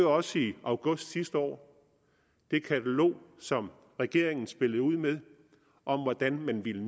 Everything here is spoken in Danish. også i august sidste år det katalog som regeringen spillede ud med om hvordan man ville